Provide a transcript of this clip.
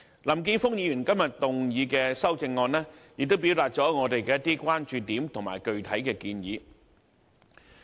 林健鋒議員今天提出的修正案，表達了我們的一些關注點和具體建議。